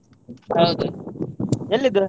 ಹಾಗೆ ಎಲ್ಲಿದ್ದು?